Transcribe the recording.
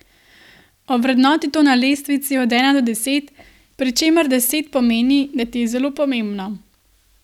Ovrednoti to na lestvici od ena do deset, pri čemer deset pomeni, da ti je zelo pomembno.